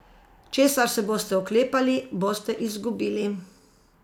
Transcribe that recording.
Česar se boste oklepali, boste izgubili.